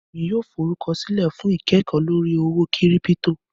ẹ̀mi yóò fọrúkọsilẹ̀ fún ikẹ́kọ̀ lórí owó kírípítò.